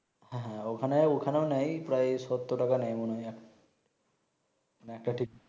হ্যাঁ হ্যাঁ ঐ খানে ওখানেও নেয় প্রায় সত্তর টাকা মনে হয় একটা ঠিক